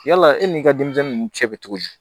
Yala e ni i ka denmisɛnnin ninnu cɛ bɛ cogo di